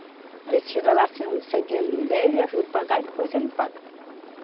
Aí você chega lá, se o seu dinheiro não der, eu lhe ajudo pagar e depois você me paga.